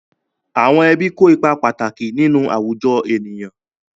Àwọn ẹbí kó ipa pàtàkì nínú àwùjọ ènìyàn.